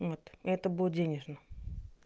вот это будет денежный